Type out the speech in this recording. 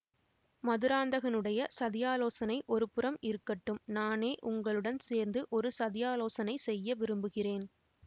மதுராந்தகனுடைய சதியாலோசனை ஒருபுறம் இருக்கட்டும் நானே உங்களுடன் சேர்ந்து ஒரு சதியாலோசனை செய்ய விரும்புகிறேன்